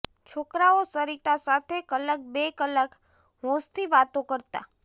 છોકરાઓ સરિતા સાથે કલાક બે કલાક હોંશથી વાતો કરતા